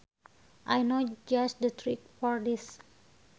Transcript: I know just the trick for this